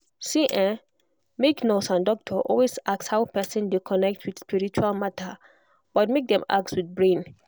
see[um]make nurse and doctor always ask how person dey connect with spiritual matter but make dem ask with brain.